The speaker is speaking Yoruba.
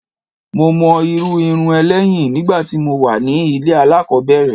Mo mọ irú irun ẹ lẹ́yìn nígbà tí mo wà ní ilé alákòbẹ̀rẹ̀.